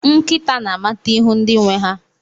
Nkịta na-amata ihu ndị nwe ha.